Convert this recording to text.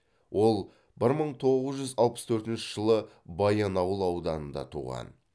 ол бір мың тоғыз жүз алпыс төртінші жылы баянауыл ауданында туған